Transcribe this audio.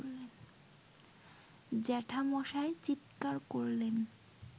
জ্যাঠামশায় চিৎকার করলেন